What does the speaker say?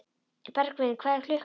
Bergvin, hvað er klukkan?